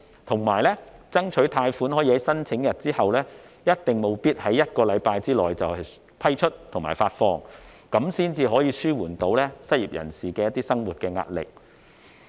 同時，政府應爭取貸款可以在申請日起計1星期內批出和發放，以紓緩失業人士的生活壓力。